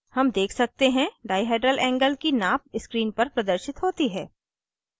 हम देख सकते हैं dihedral angle की नाप screen पर प्रदर्शित होती है